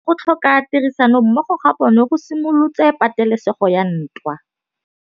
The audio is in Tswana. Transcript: Go tlhoka tirsanommogo ga bone go simolotse patêlêsêgô ya ntwa.